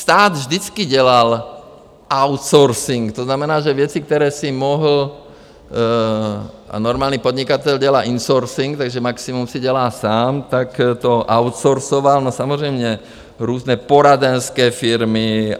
Stát vždycky dělal outsourcing, to znamená, že věci, které si mohl - a normální podnikatel dělá insourcing, takže maximum si dělá sám - tak to outsourcoval, no samozřejmě různé poradenské firmy.